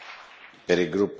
Herr Präsident!